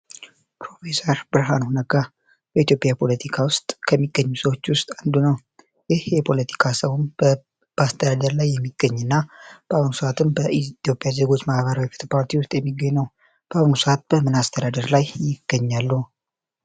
ፕሮፌሰር ብርሃኑ ነጋ በኢትዮጵያ ፖለቲካ ውስጥ ከሚገኙ ሰዎች ውስጥ አንዱ ነው። ይህ የፖለቲካ ሰውም በአስተዳደር ላይ የሚገኝ እና በአሁኑ ሰዓትም በኢትዮጵያ ዜጎች ማህበራዊ ተቋማት ውስጥ የሚገኝ ነው። በአሁኑ ሰዓት በምን አስተዳደር ላይ ይገኛሉ?